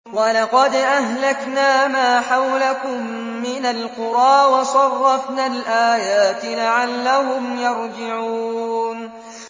وَلَقَدْ أَهْلَكْنَا مَا حَوْلَكُم مِّنَ الْقُرَىٰ وَصَرَّفْنَا الْآيَاتِ لَعَلَّهُمْ يَرْجِعُونَ